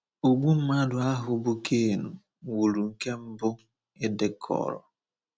Ogbu mmadụ ahụ bụ́ Cain wuru nke mbụ e dekọrọ.